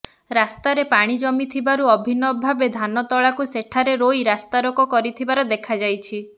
ରାସ୍ତାରେ ପାଣି ଜମିଥିବାରୁ ଅଭିନବ ଭାବେ ଧାନତଳାକୁ ସେଠାରେ ରୋଇ ରାସ୍ତାରୋକ କରିଥିବାର ଦେଖାଯାଇଛି